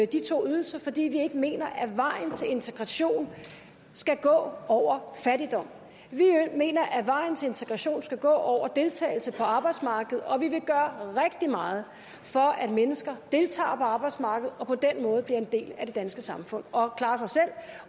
de to ydelser fordi vi ikke mener at vejen til integration skal gå over fattigdom vi mener at vejen til integration skal gå over deltagelse på arbejdsmarkedet og vi vil gøre rigtig meget for at mennesker deltager på arbejdsmarkedet og på den måde bliver en del af det danske samfund og klarer sig selv